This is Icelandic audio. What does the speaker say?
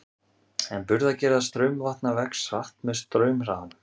En burðargeta straumvatna vex hratt með straumhraðanum.